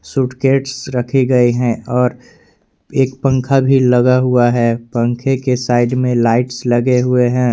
Suitcase रखे गए हैं और एक पंखा भी लगा हुआ है पंखे के साइड में लाइट्स लगे हुए हैं।